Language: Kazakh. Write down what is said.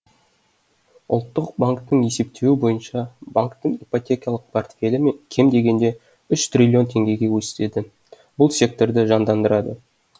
ұлттық банктің есептеуі бойынша банктің ипотекалық портфелі кем дегенде үш триллион теңгеге өседі бұл секторды жандандырады